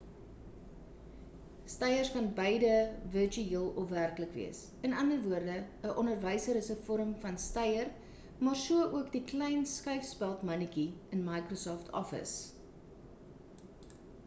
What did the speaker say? steiers kan beide virtueel of werklik wees in ander woorde 'n onderwyser is 'n vorm van steier maar so ook die klein skuifspeld mannetjie in microsoft office